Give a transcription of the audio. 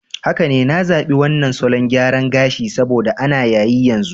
Haka ne, na zabi wannan salon gyara gashi saboda ana yayi yanzu.